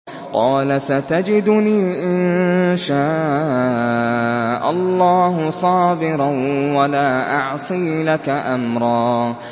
قَالَ سَتَجِدُنِي إِن شَاءَ اللَّهُ صَابِرًا وَلَا أَعْصِي لَكَ أَمْرًا